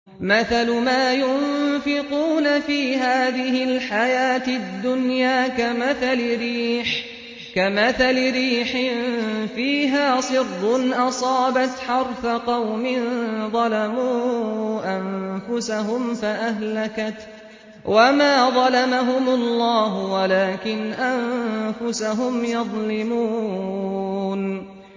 مَثَلُ مَا يُنفِقُونَ فِي هَٰذِهِ الْحَيَاةِ الدُّنْيَا كَمَثَلِ رِيحٍ فِيهَا صِرٌّ أَصَابَتْ حَرْثَ قَوْمٍ ظَلَمُوا أَنفُسَهُمْ فَأَهْلَكَتْهُ ۚ وَمَا ظَلَمَهُمُ اللَّهُ وَلَٰكِنْ أَنفُسَهُمْ يَظْلِمُونَ